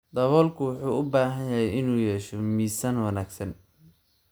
Daboolku wuxuu u baahan yahay inuu yeesho miisaan wanaagsan.